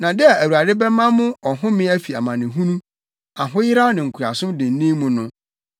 Na da a Awurade bɛma mo ɔhome afi amanehunu, ahoyeraw ne nkoasom dennen mu no,